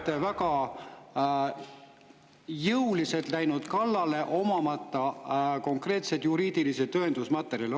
… te olete väga jõuliselt läinud kallale, omamata konkreetseid juriidilisi tõendusmaterjale.